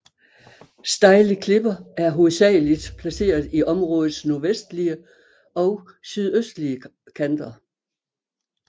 Stejle klipper er hovedsageligt placeret i områdets nordvestlige og sydøstlige kanter